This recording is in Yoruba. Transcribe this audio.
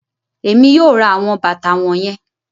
Èmí yóò ra awọn bàtà wọnyẹn